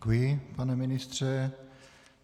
Děkuji, pane ministře.